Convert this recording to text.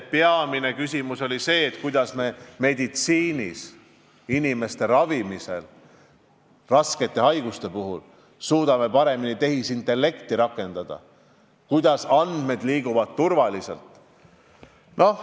Peamine küsimus oli see, kuidas me saaksime meditsiinis, inimeste ravimisel raskete haiguste puhul paremini tehisintellekti rakendada ja tagada andmete turvalise liikumise.